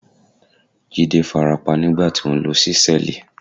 Jídé farapa nígbà tí ó ń lo ṣísẹ́ẹ̀lì.